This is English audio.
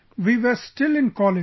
We were still in college